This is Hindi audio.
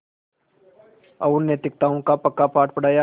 और नैतिकताओं का पक्का पाठ पढ़ाया